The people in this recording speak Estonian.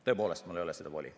Tõepoolest, mul ei ole voli.